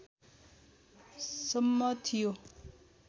सम्म थियो